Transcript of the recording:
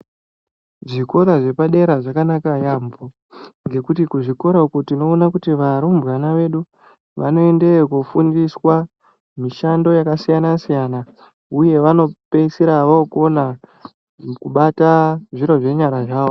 Zvikora zvepadera zvakanaka yaampho, ngekuti kuzvikora uko tinoona kuti varumbwana vedu vanoendeyo koofundiswa, mishando yakasiyana-siyana, uye vanopeisira vokona, kubata zviro zvenyara zvavo.